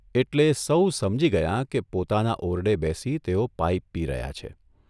એટલે સૌ સમજી ગયાં કે પોતાના ઓરડે બેસી તેઓ પાઇપ પી રહ્યા છે.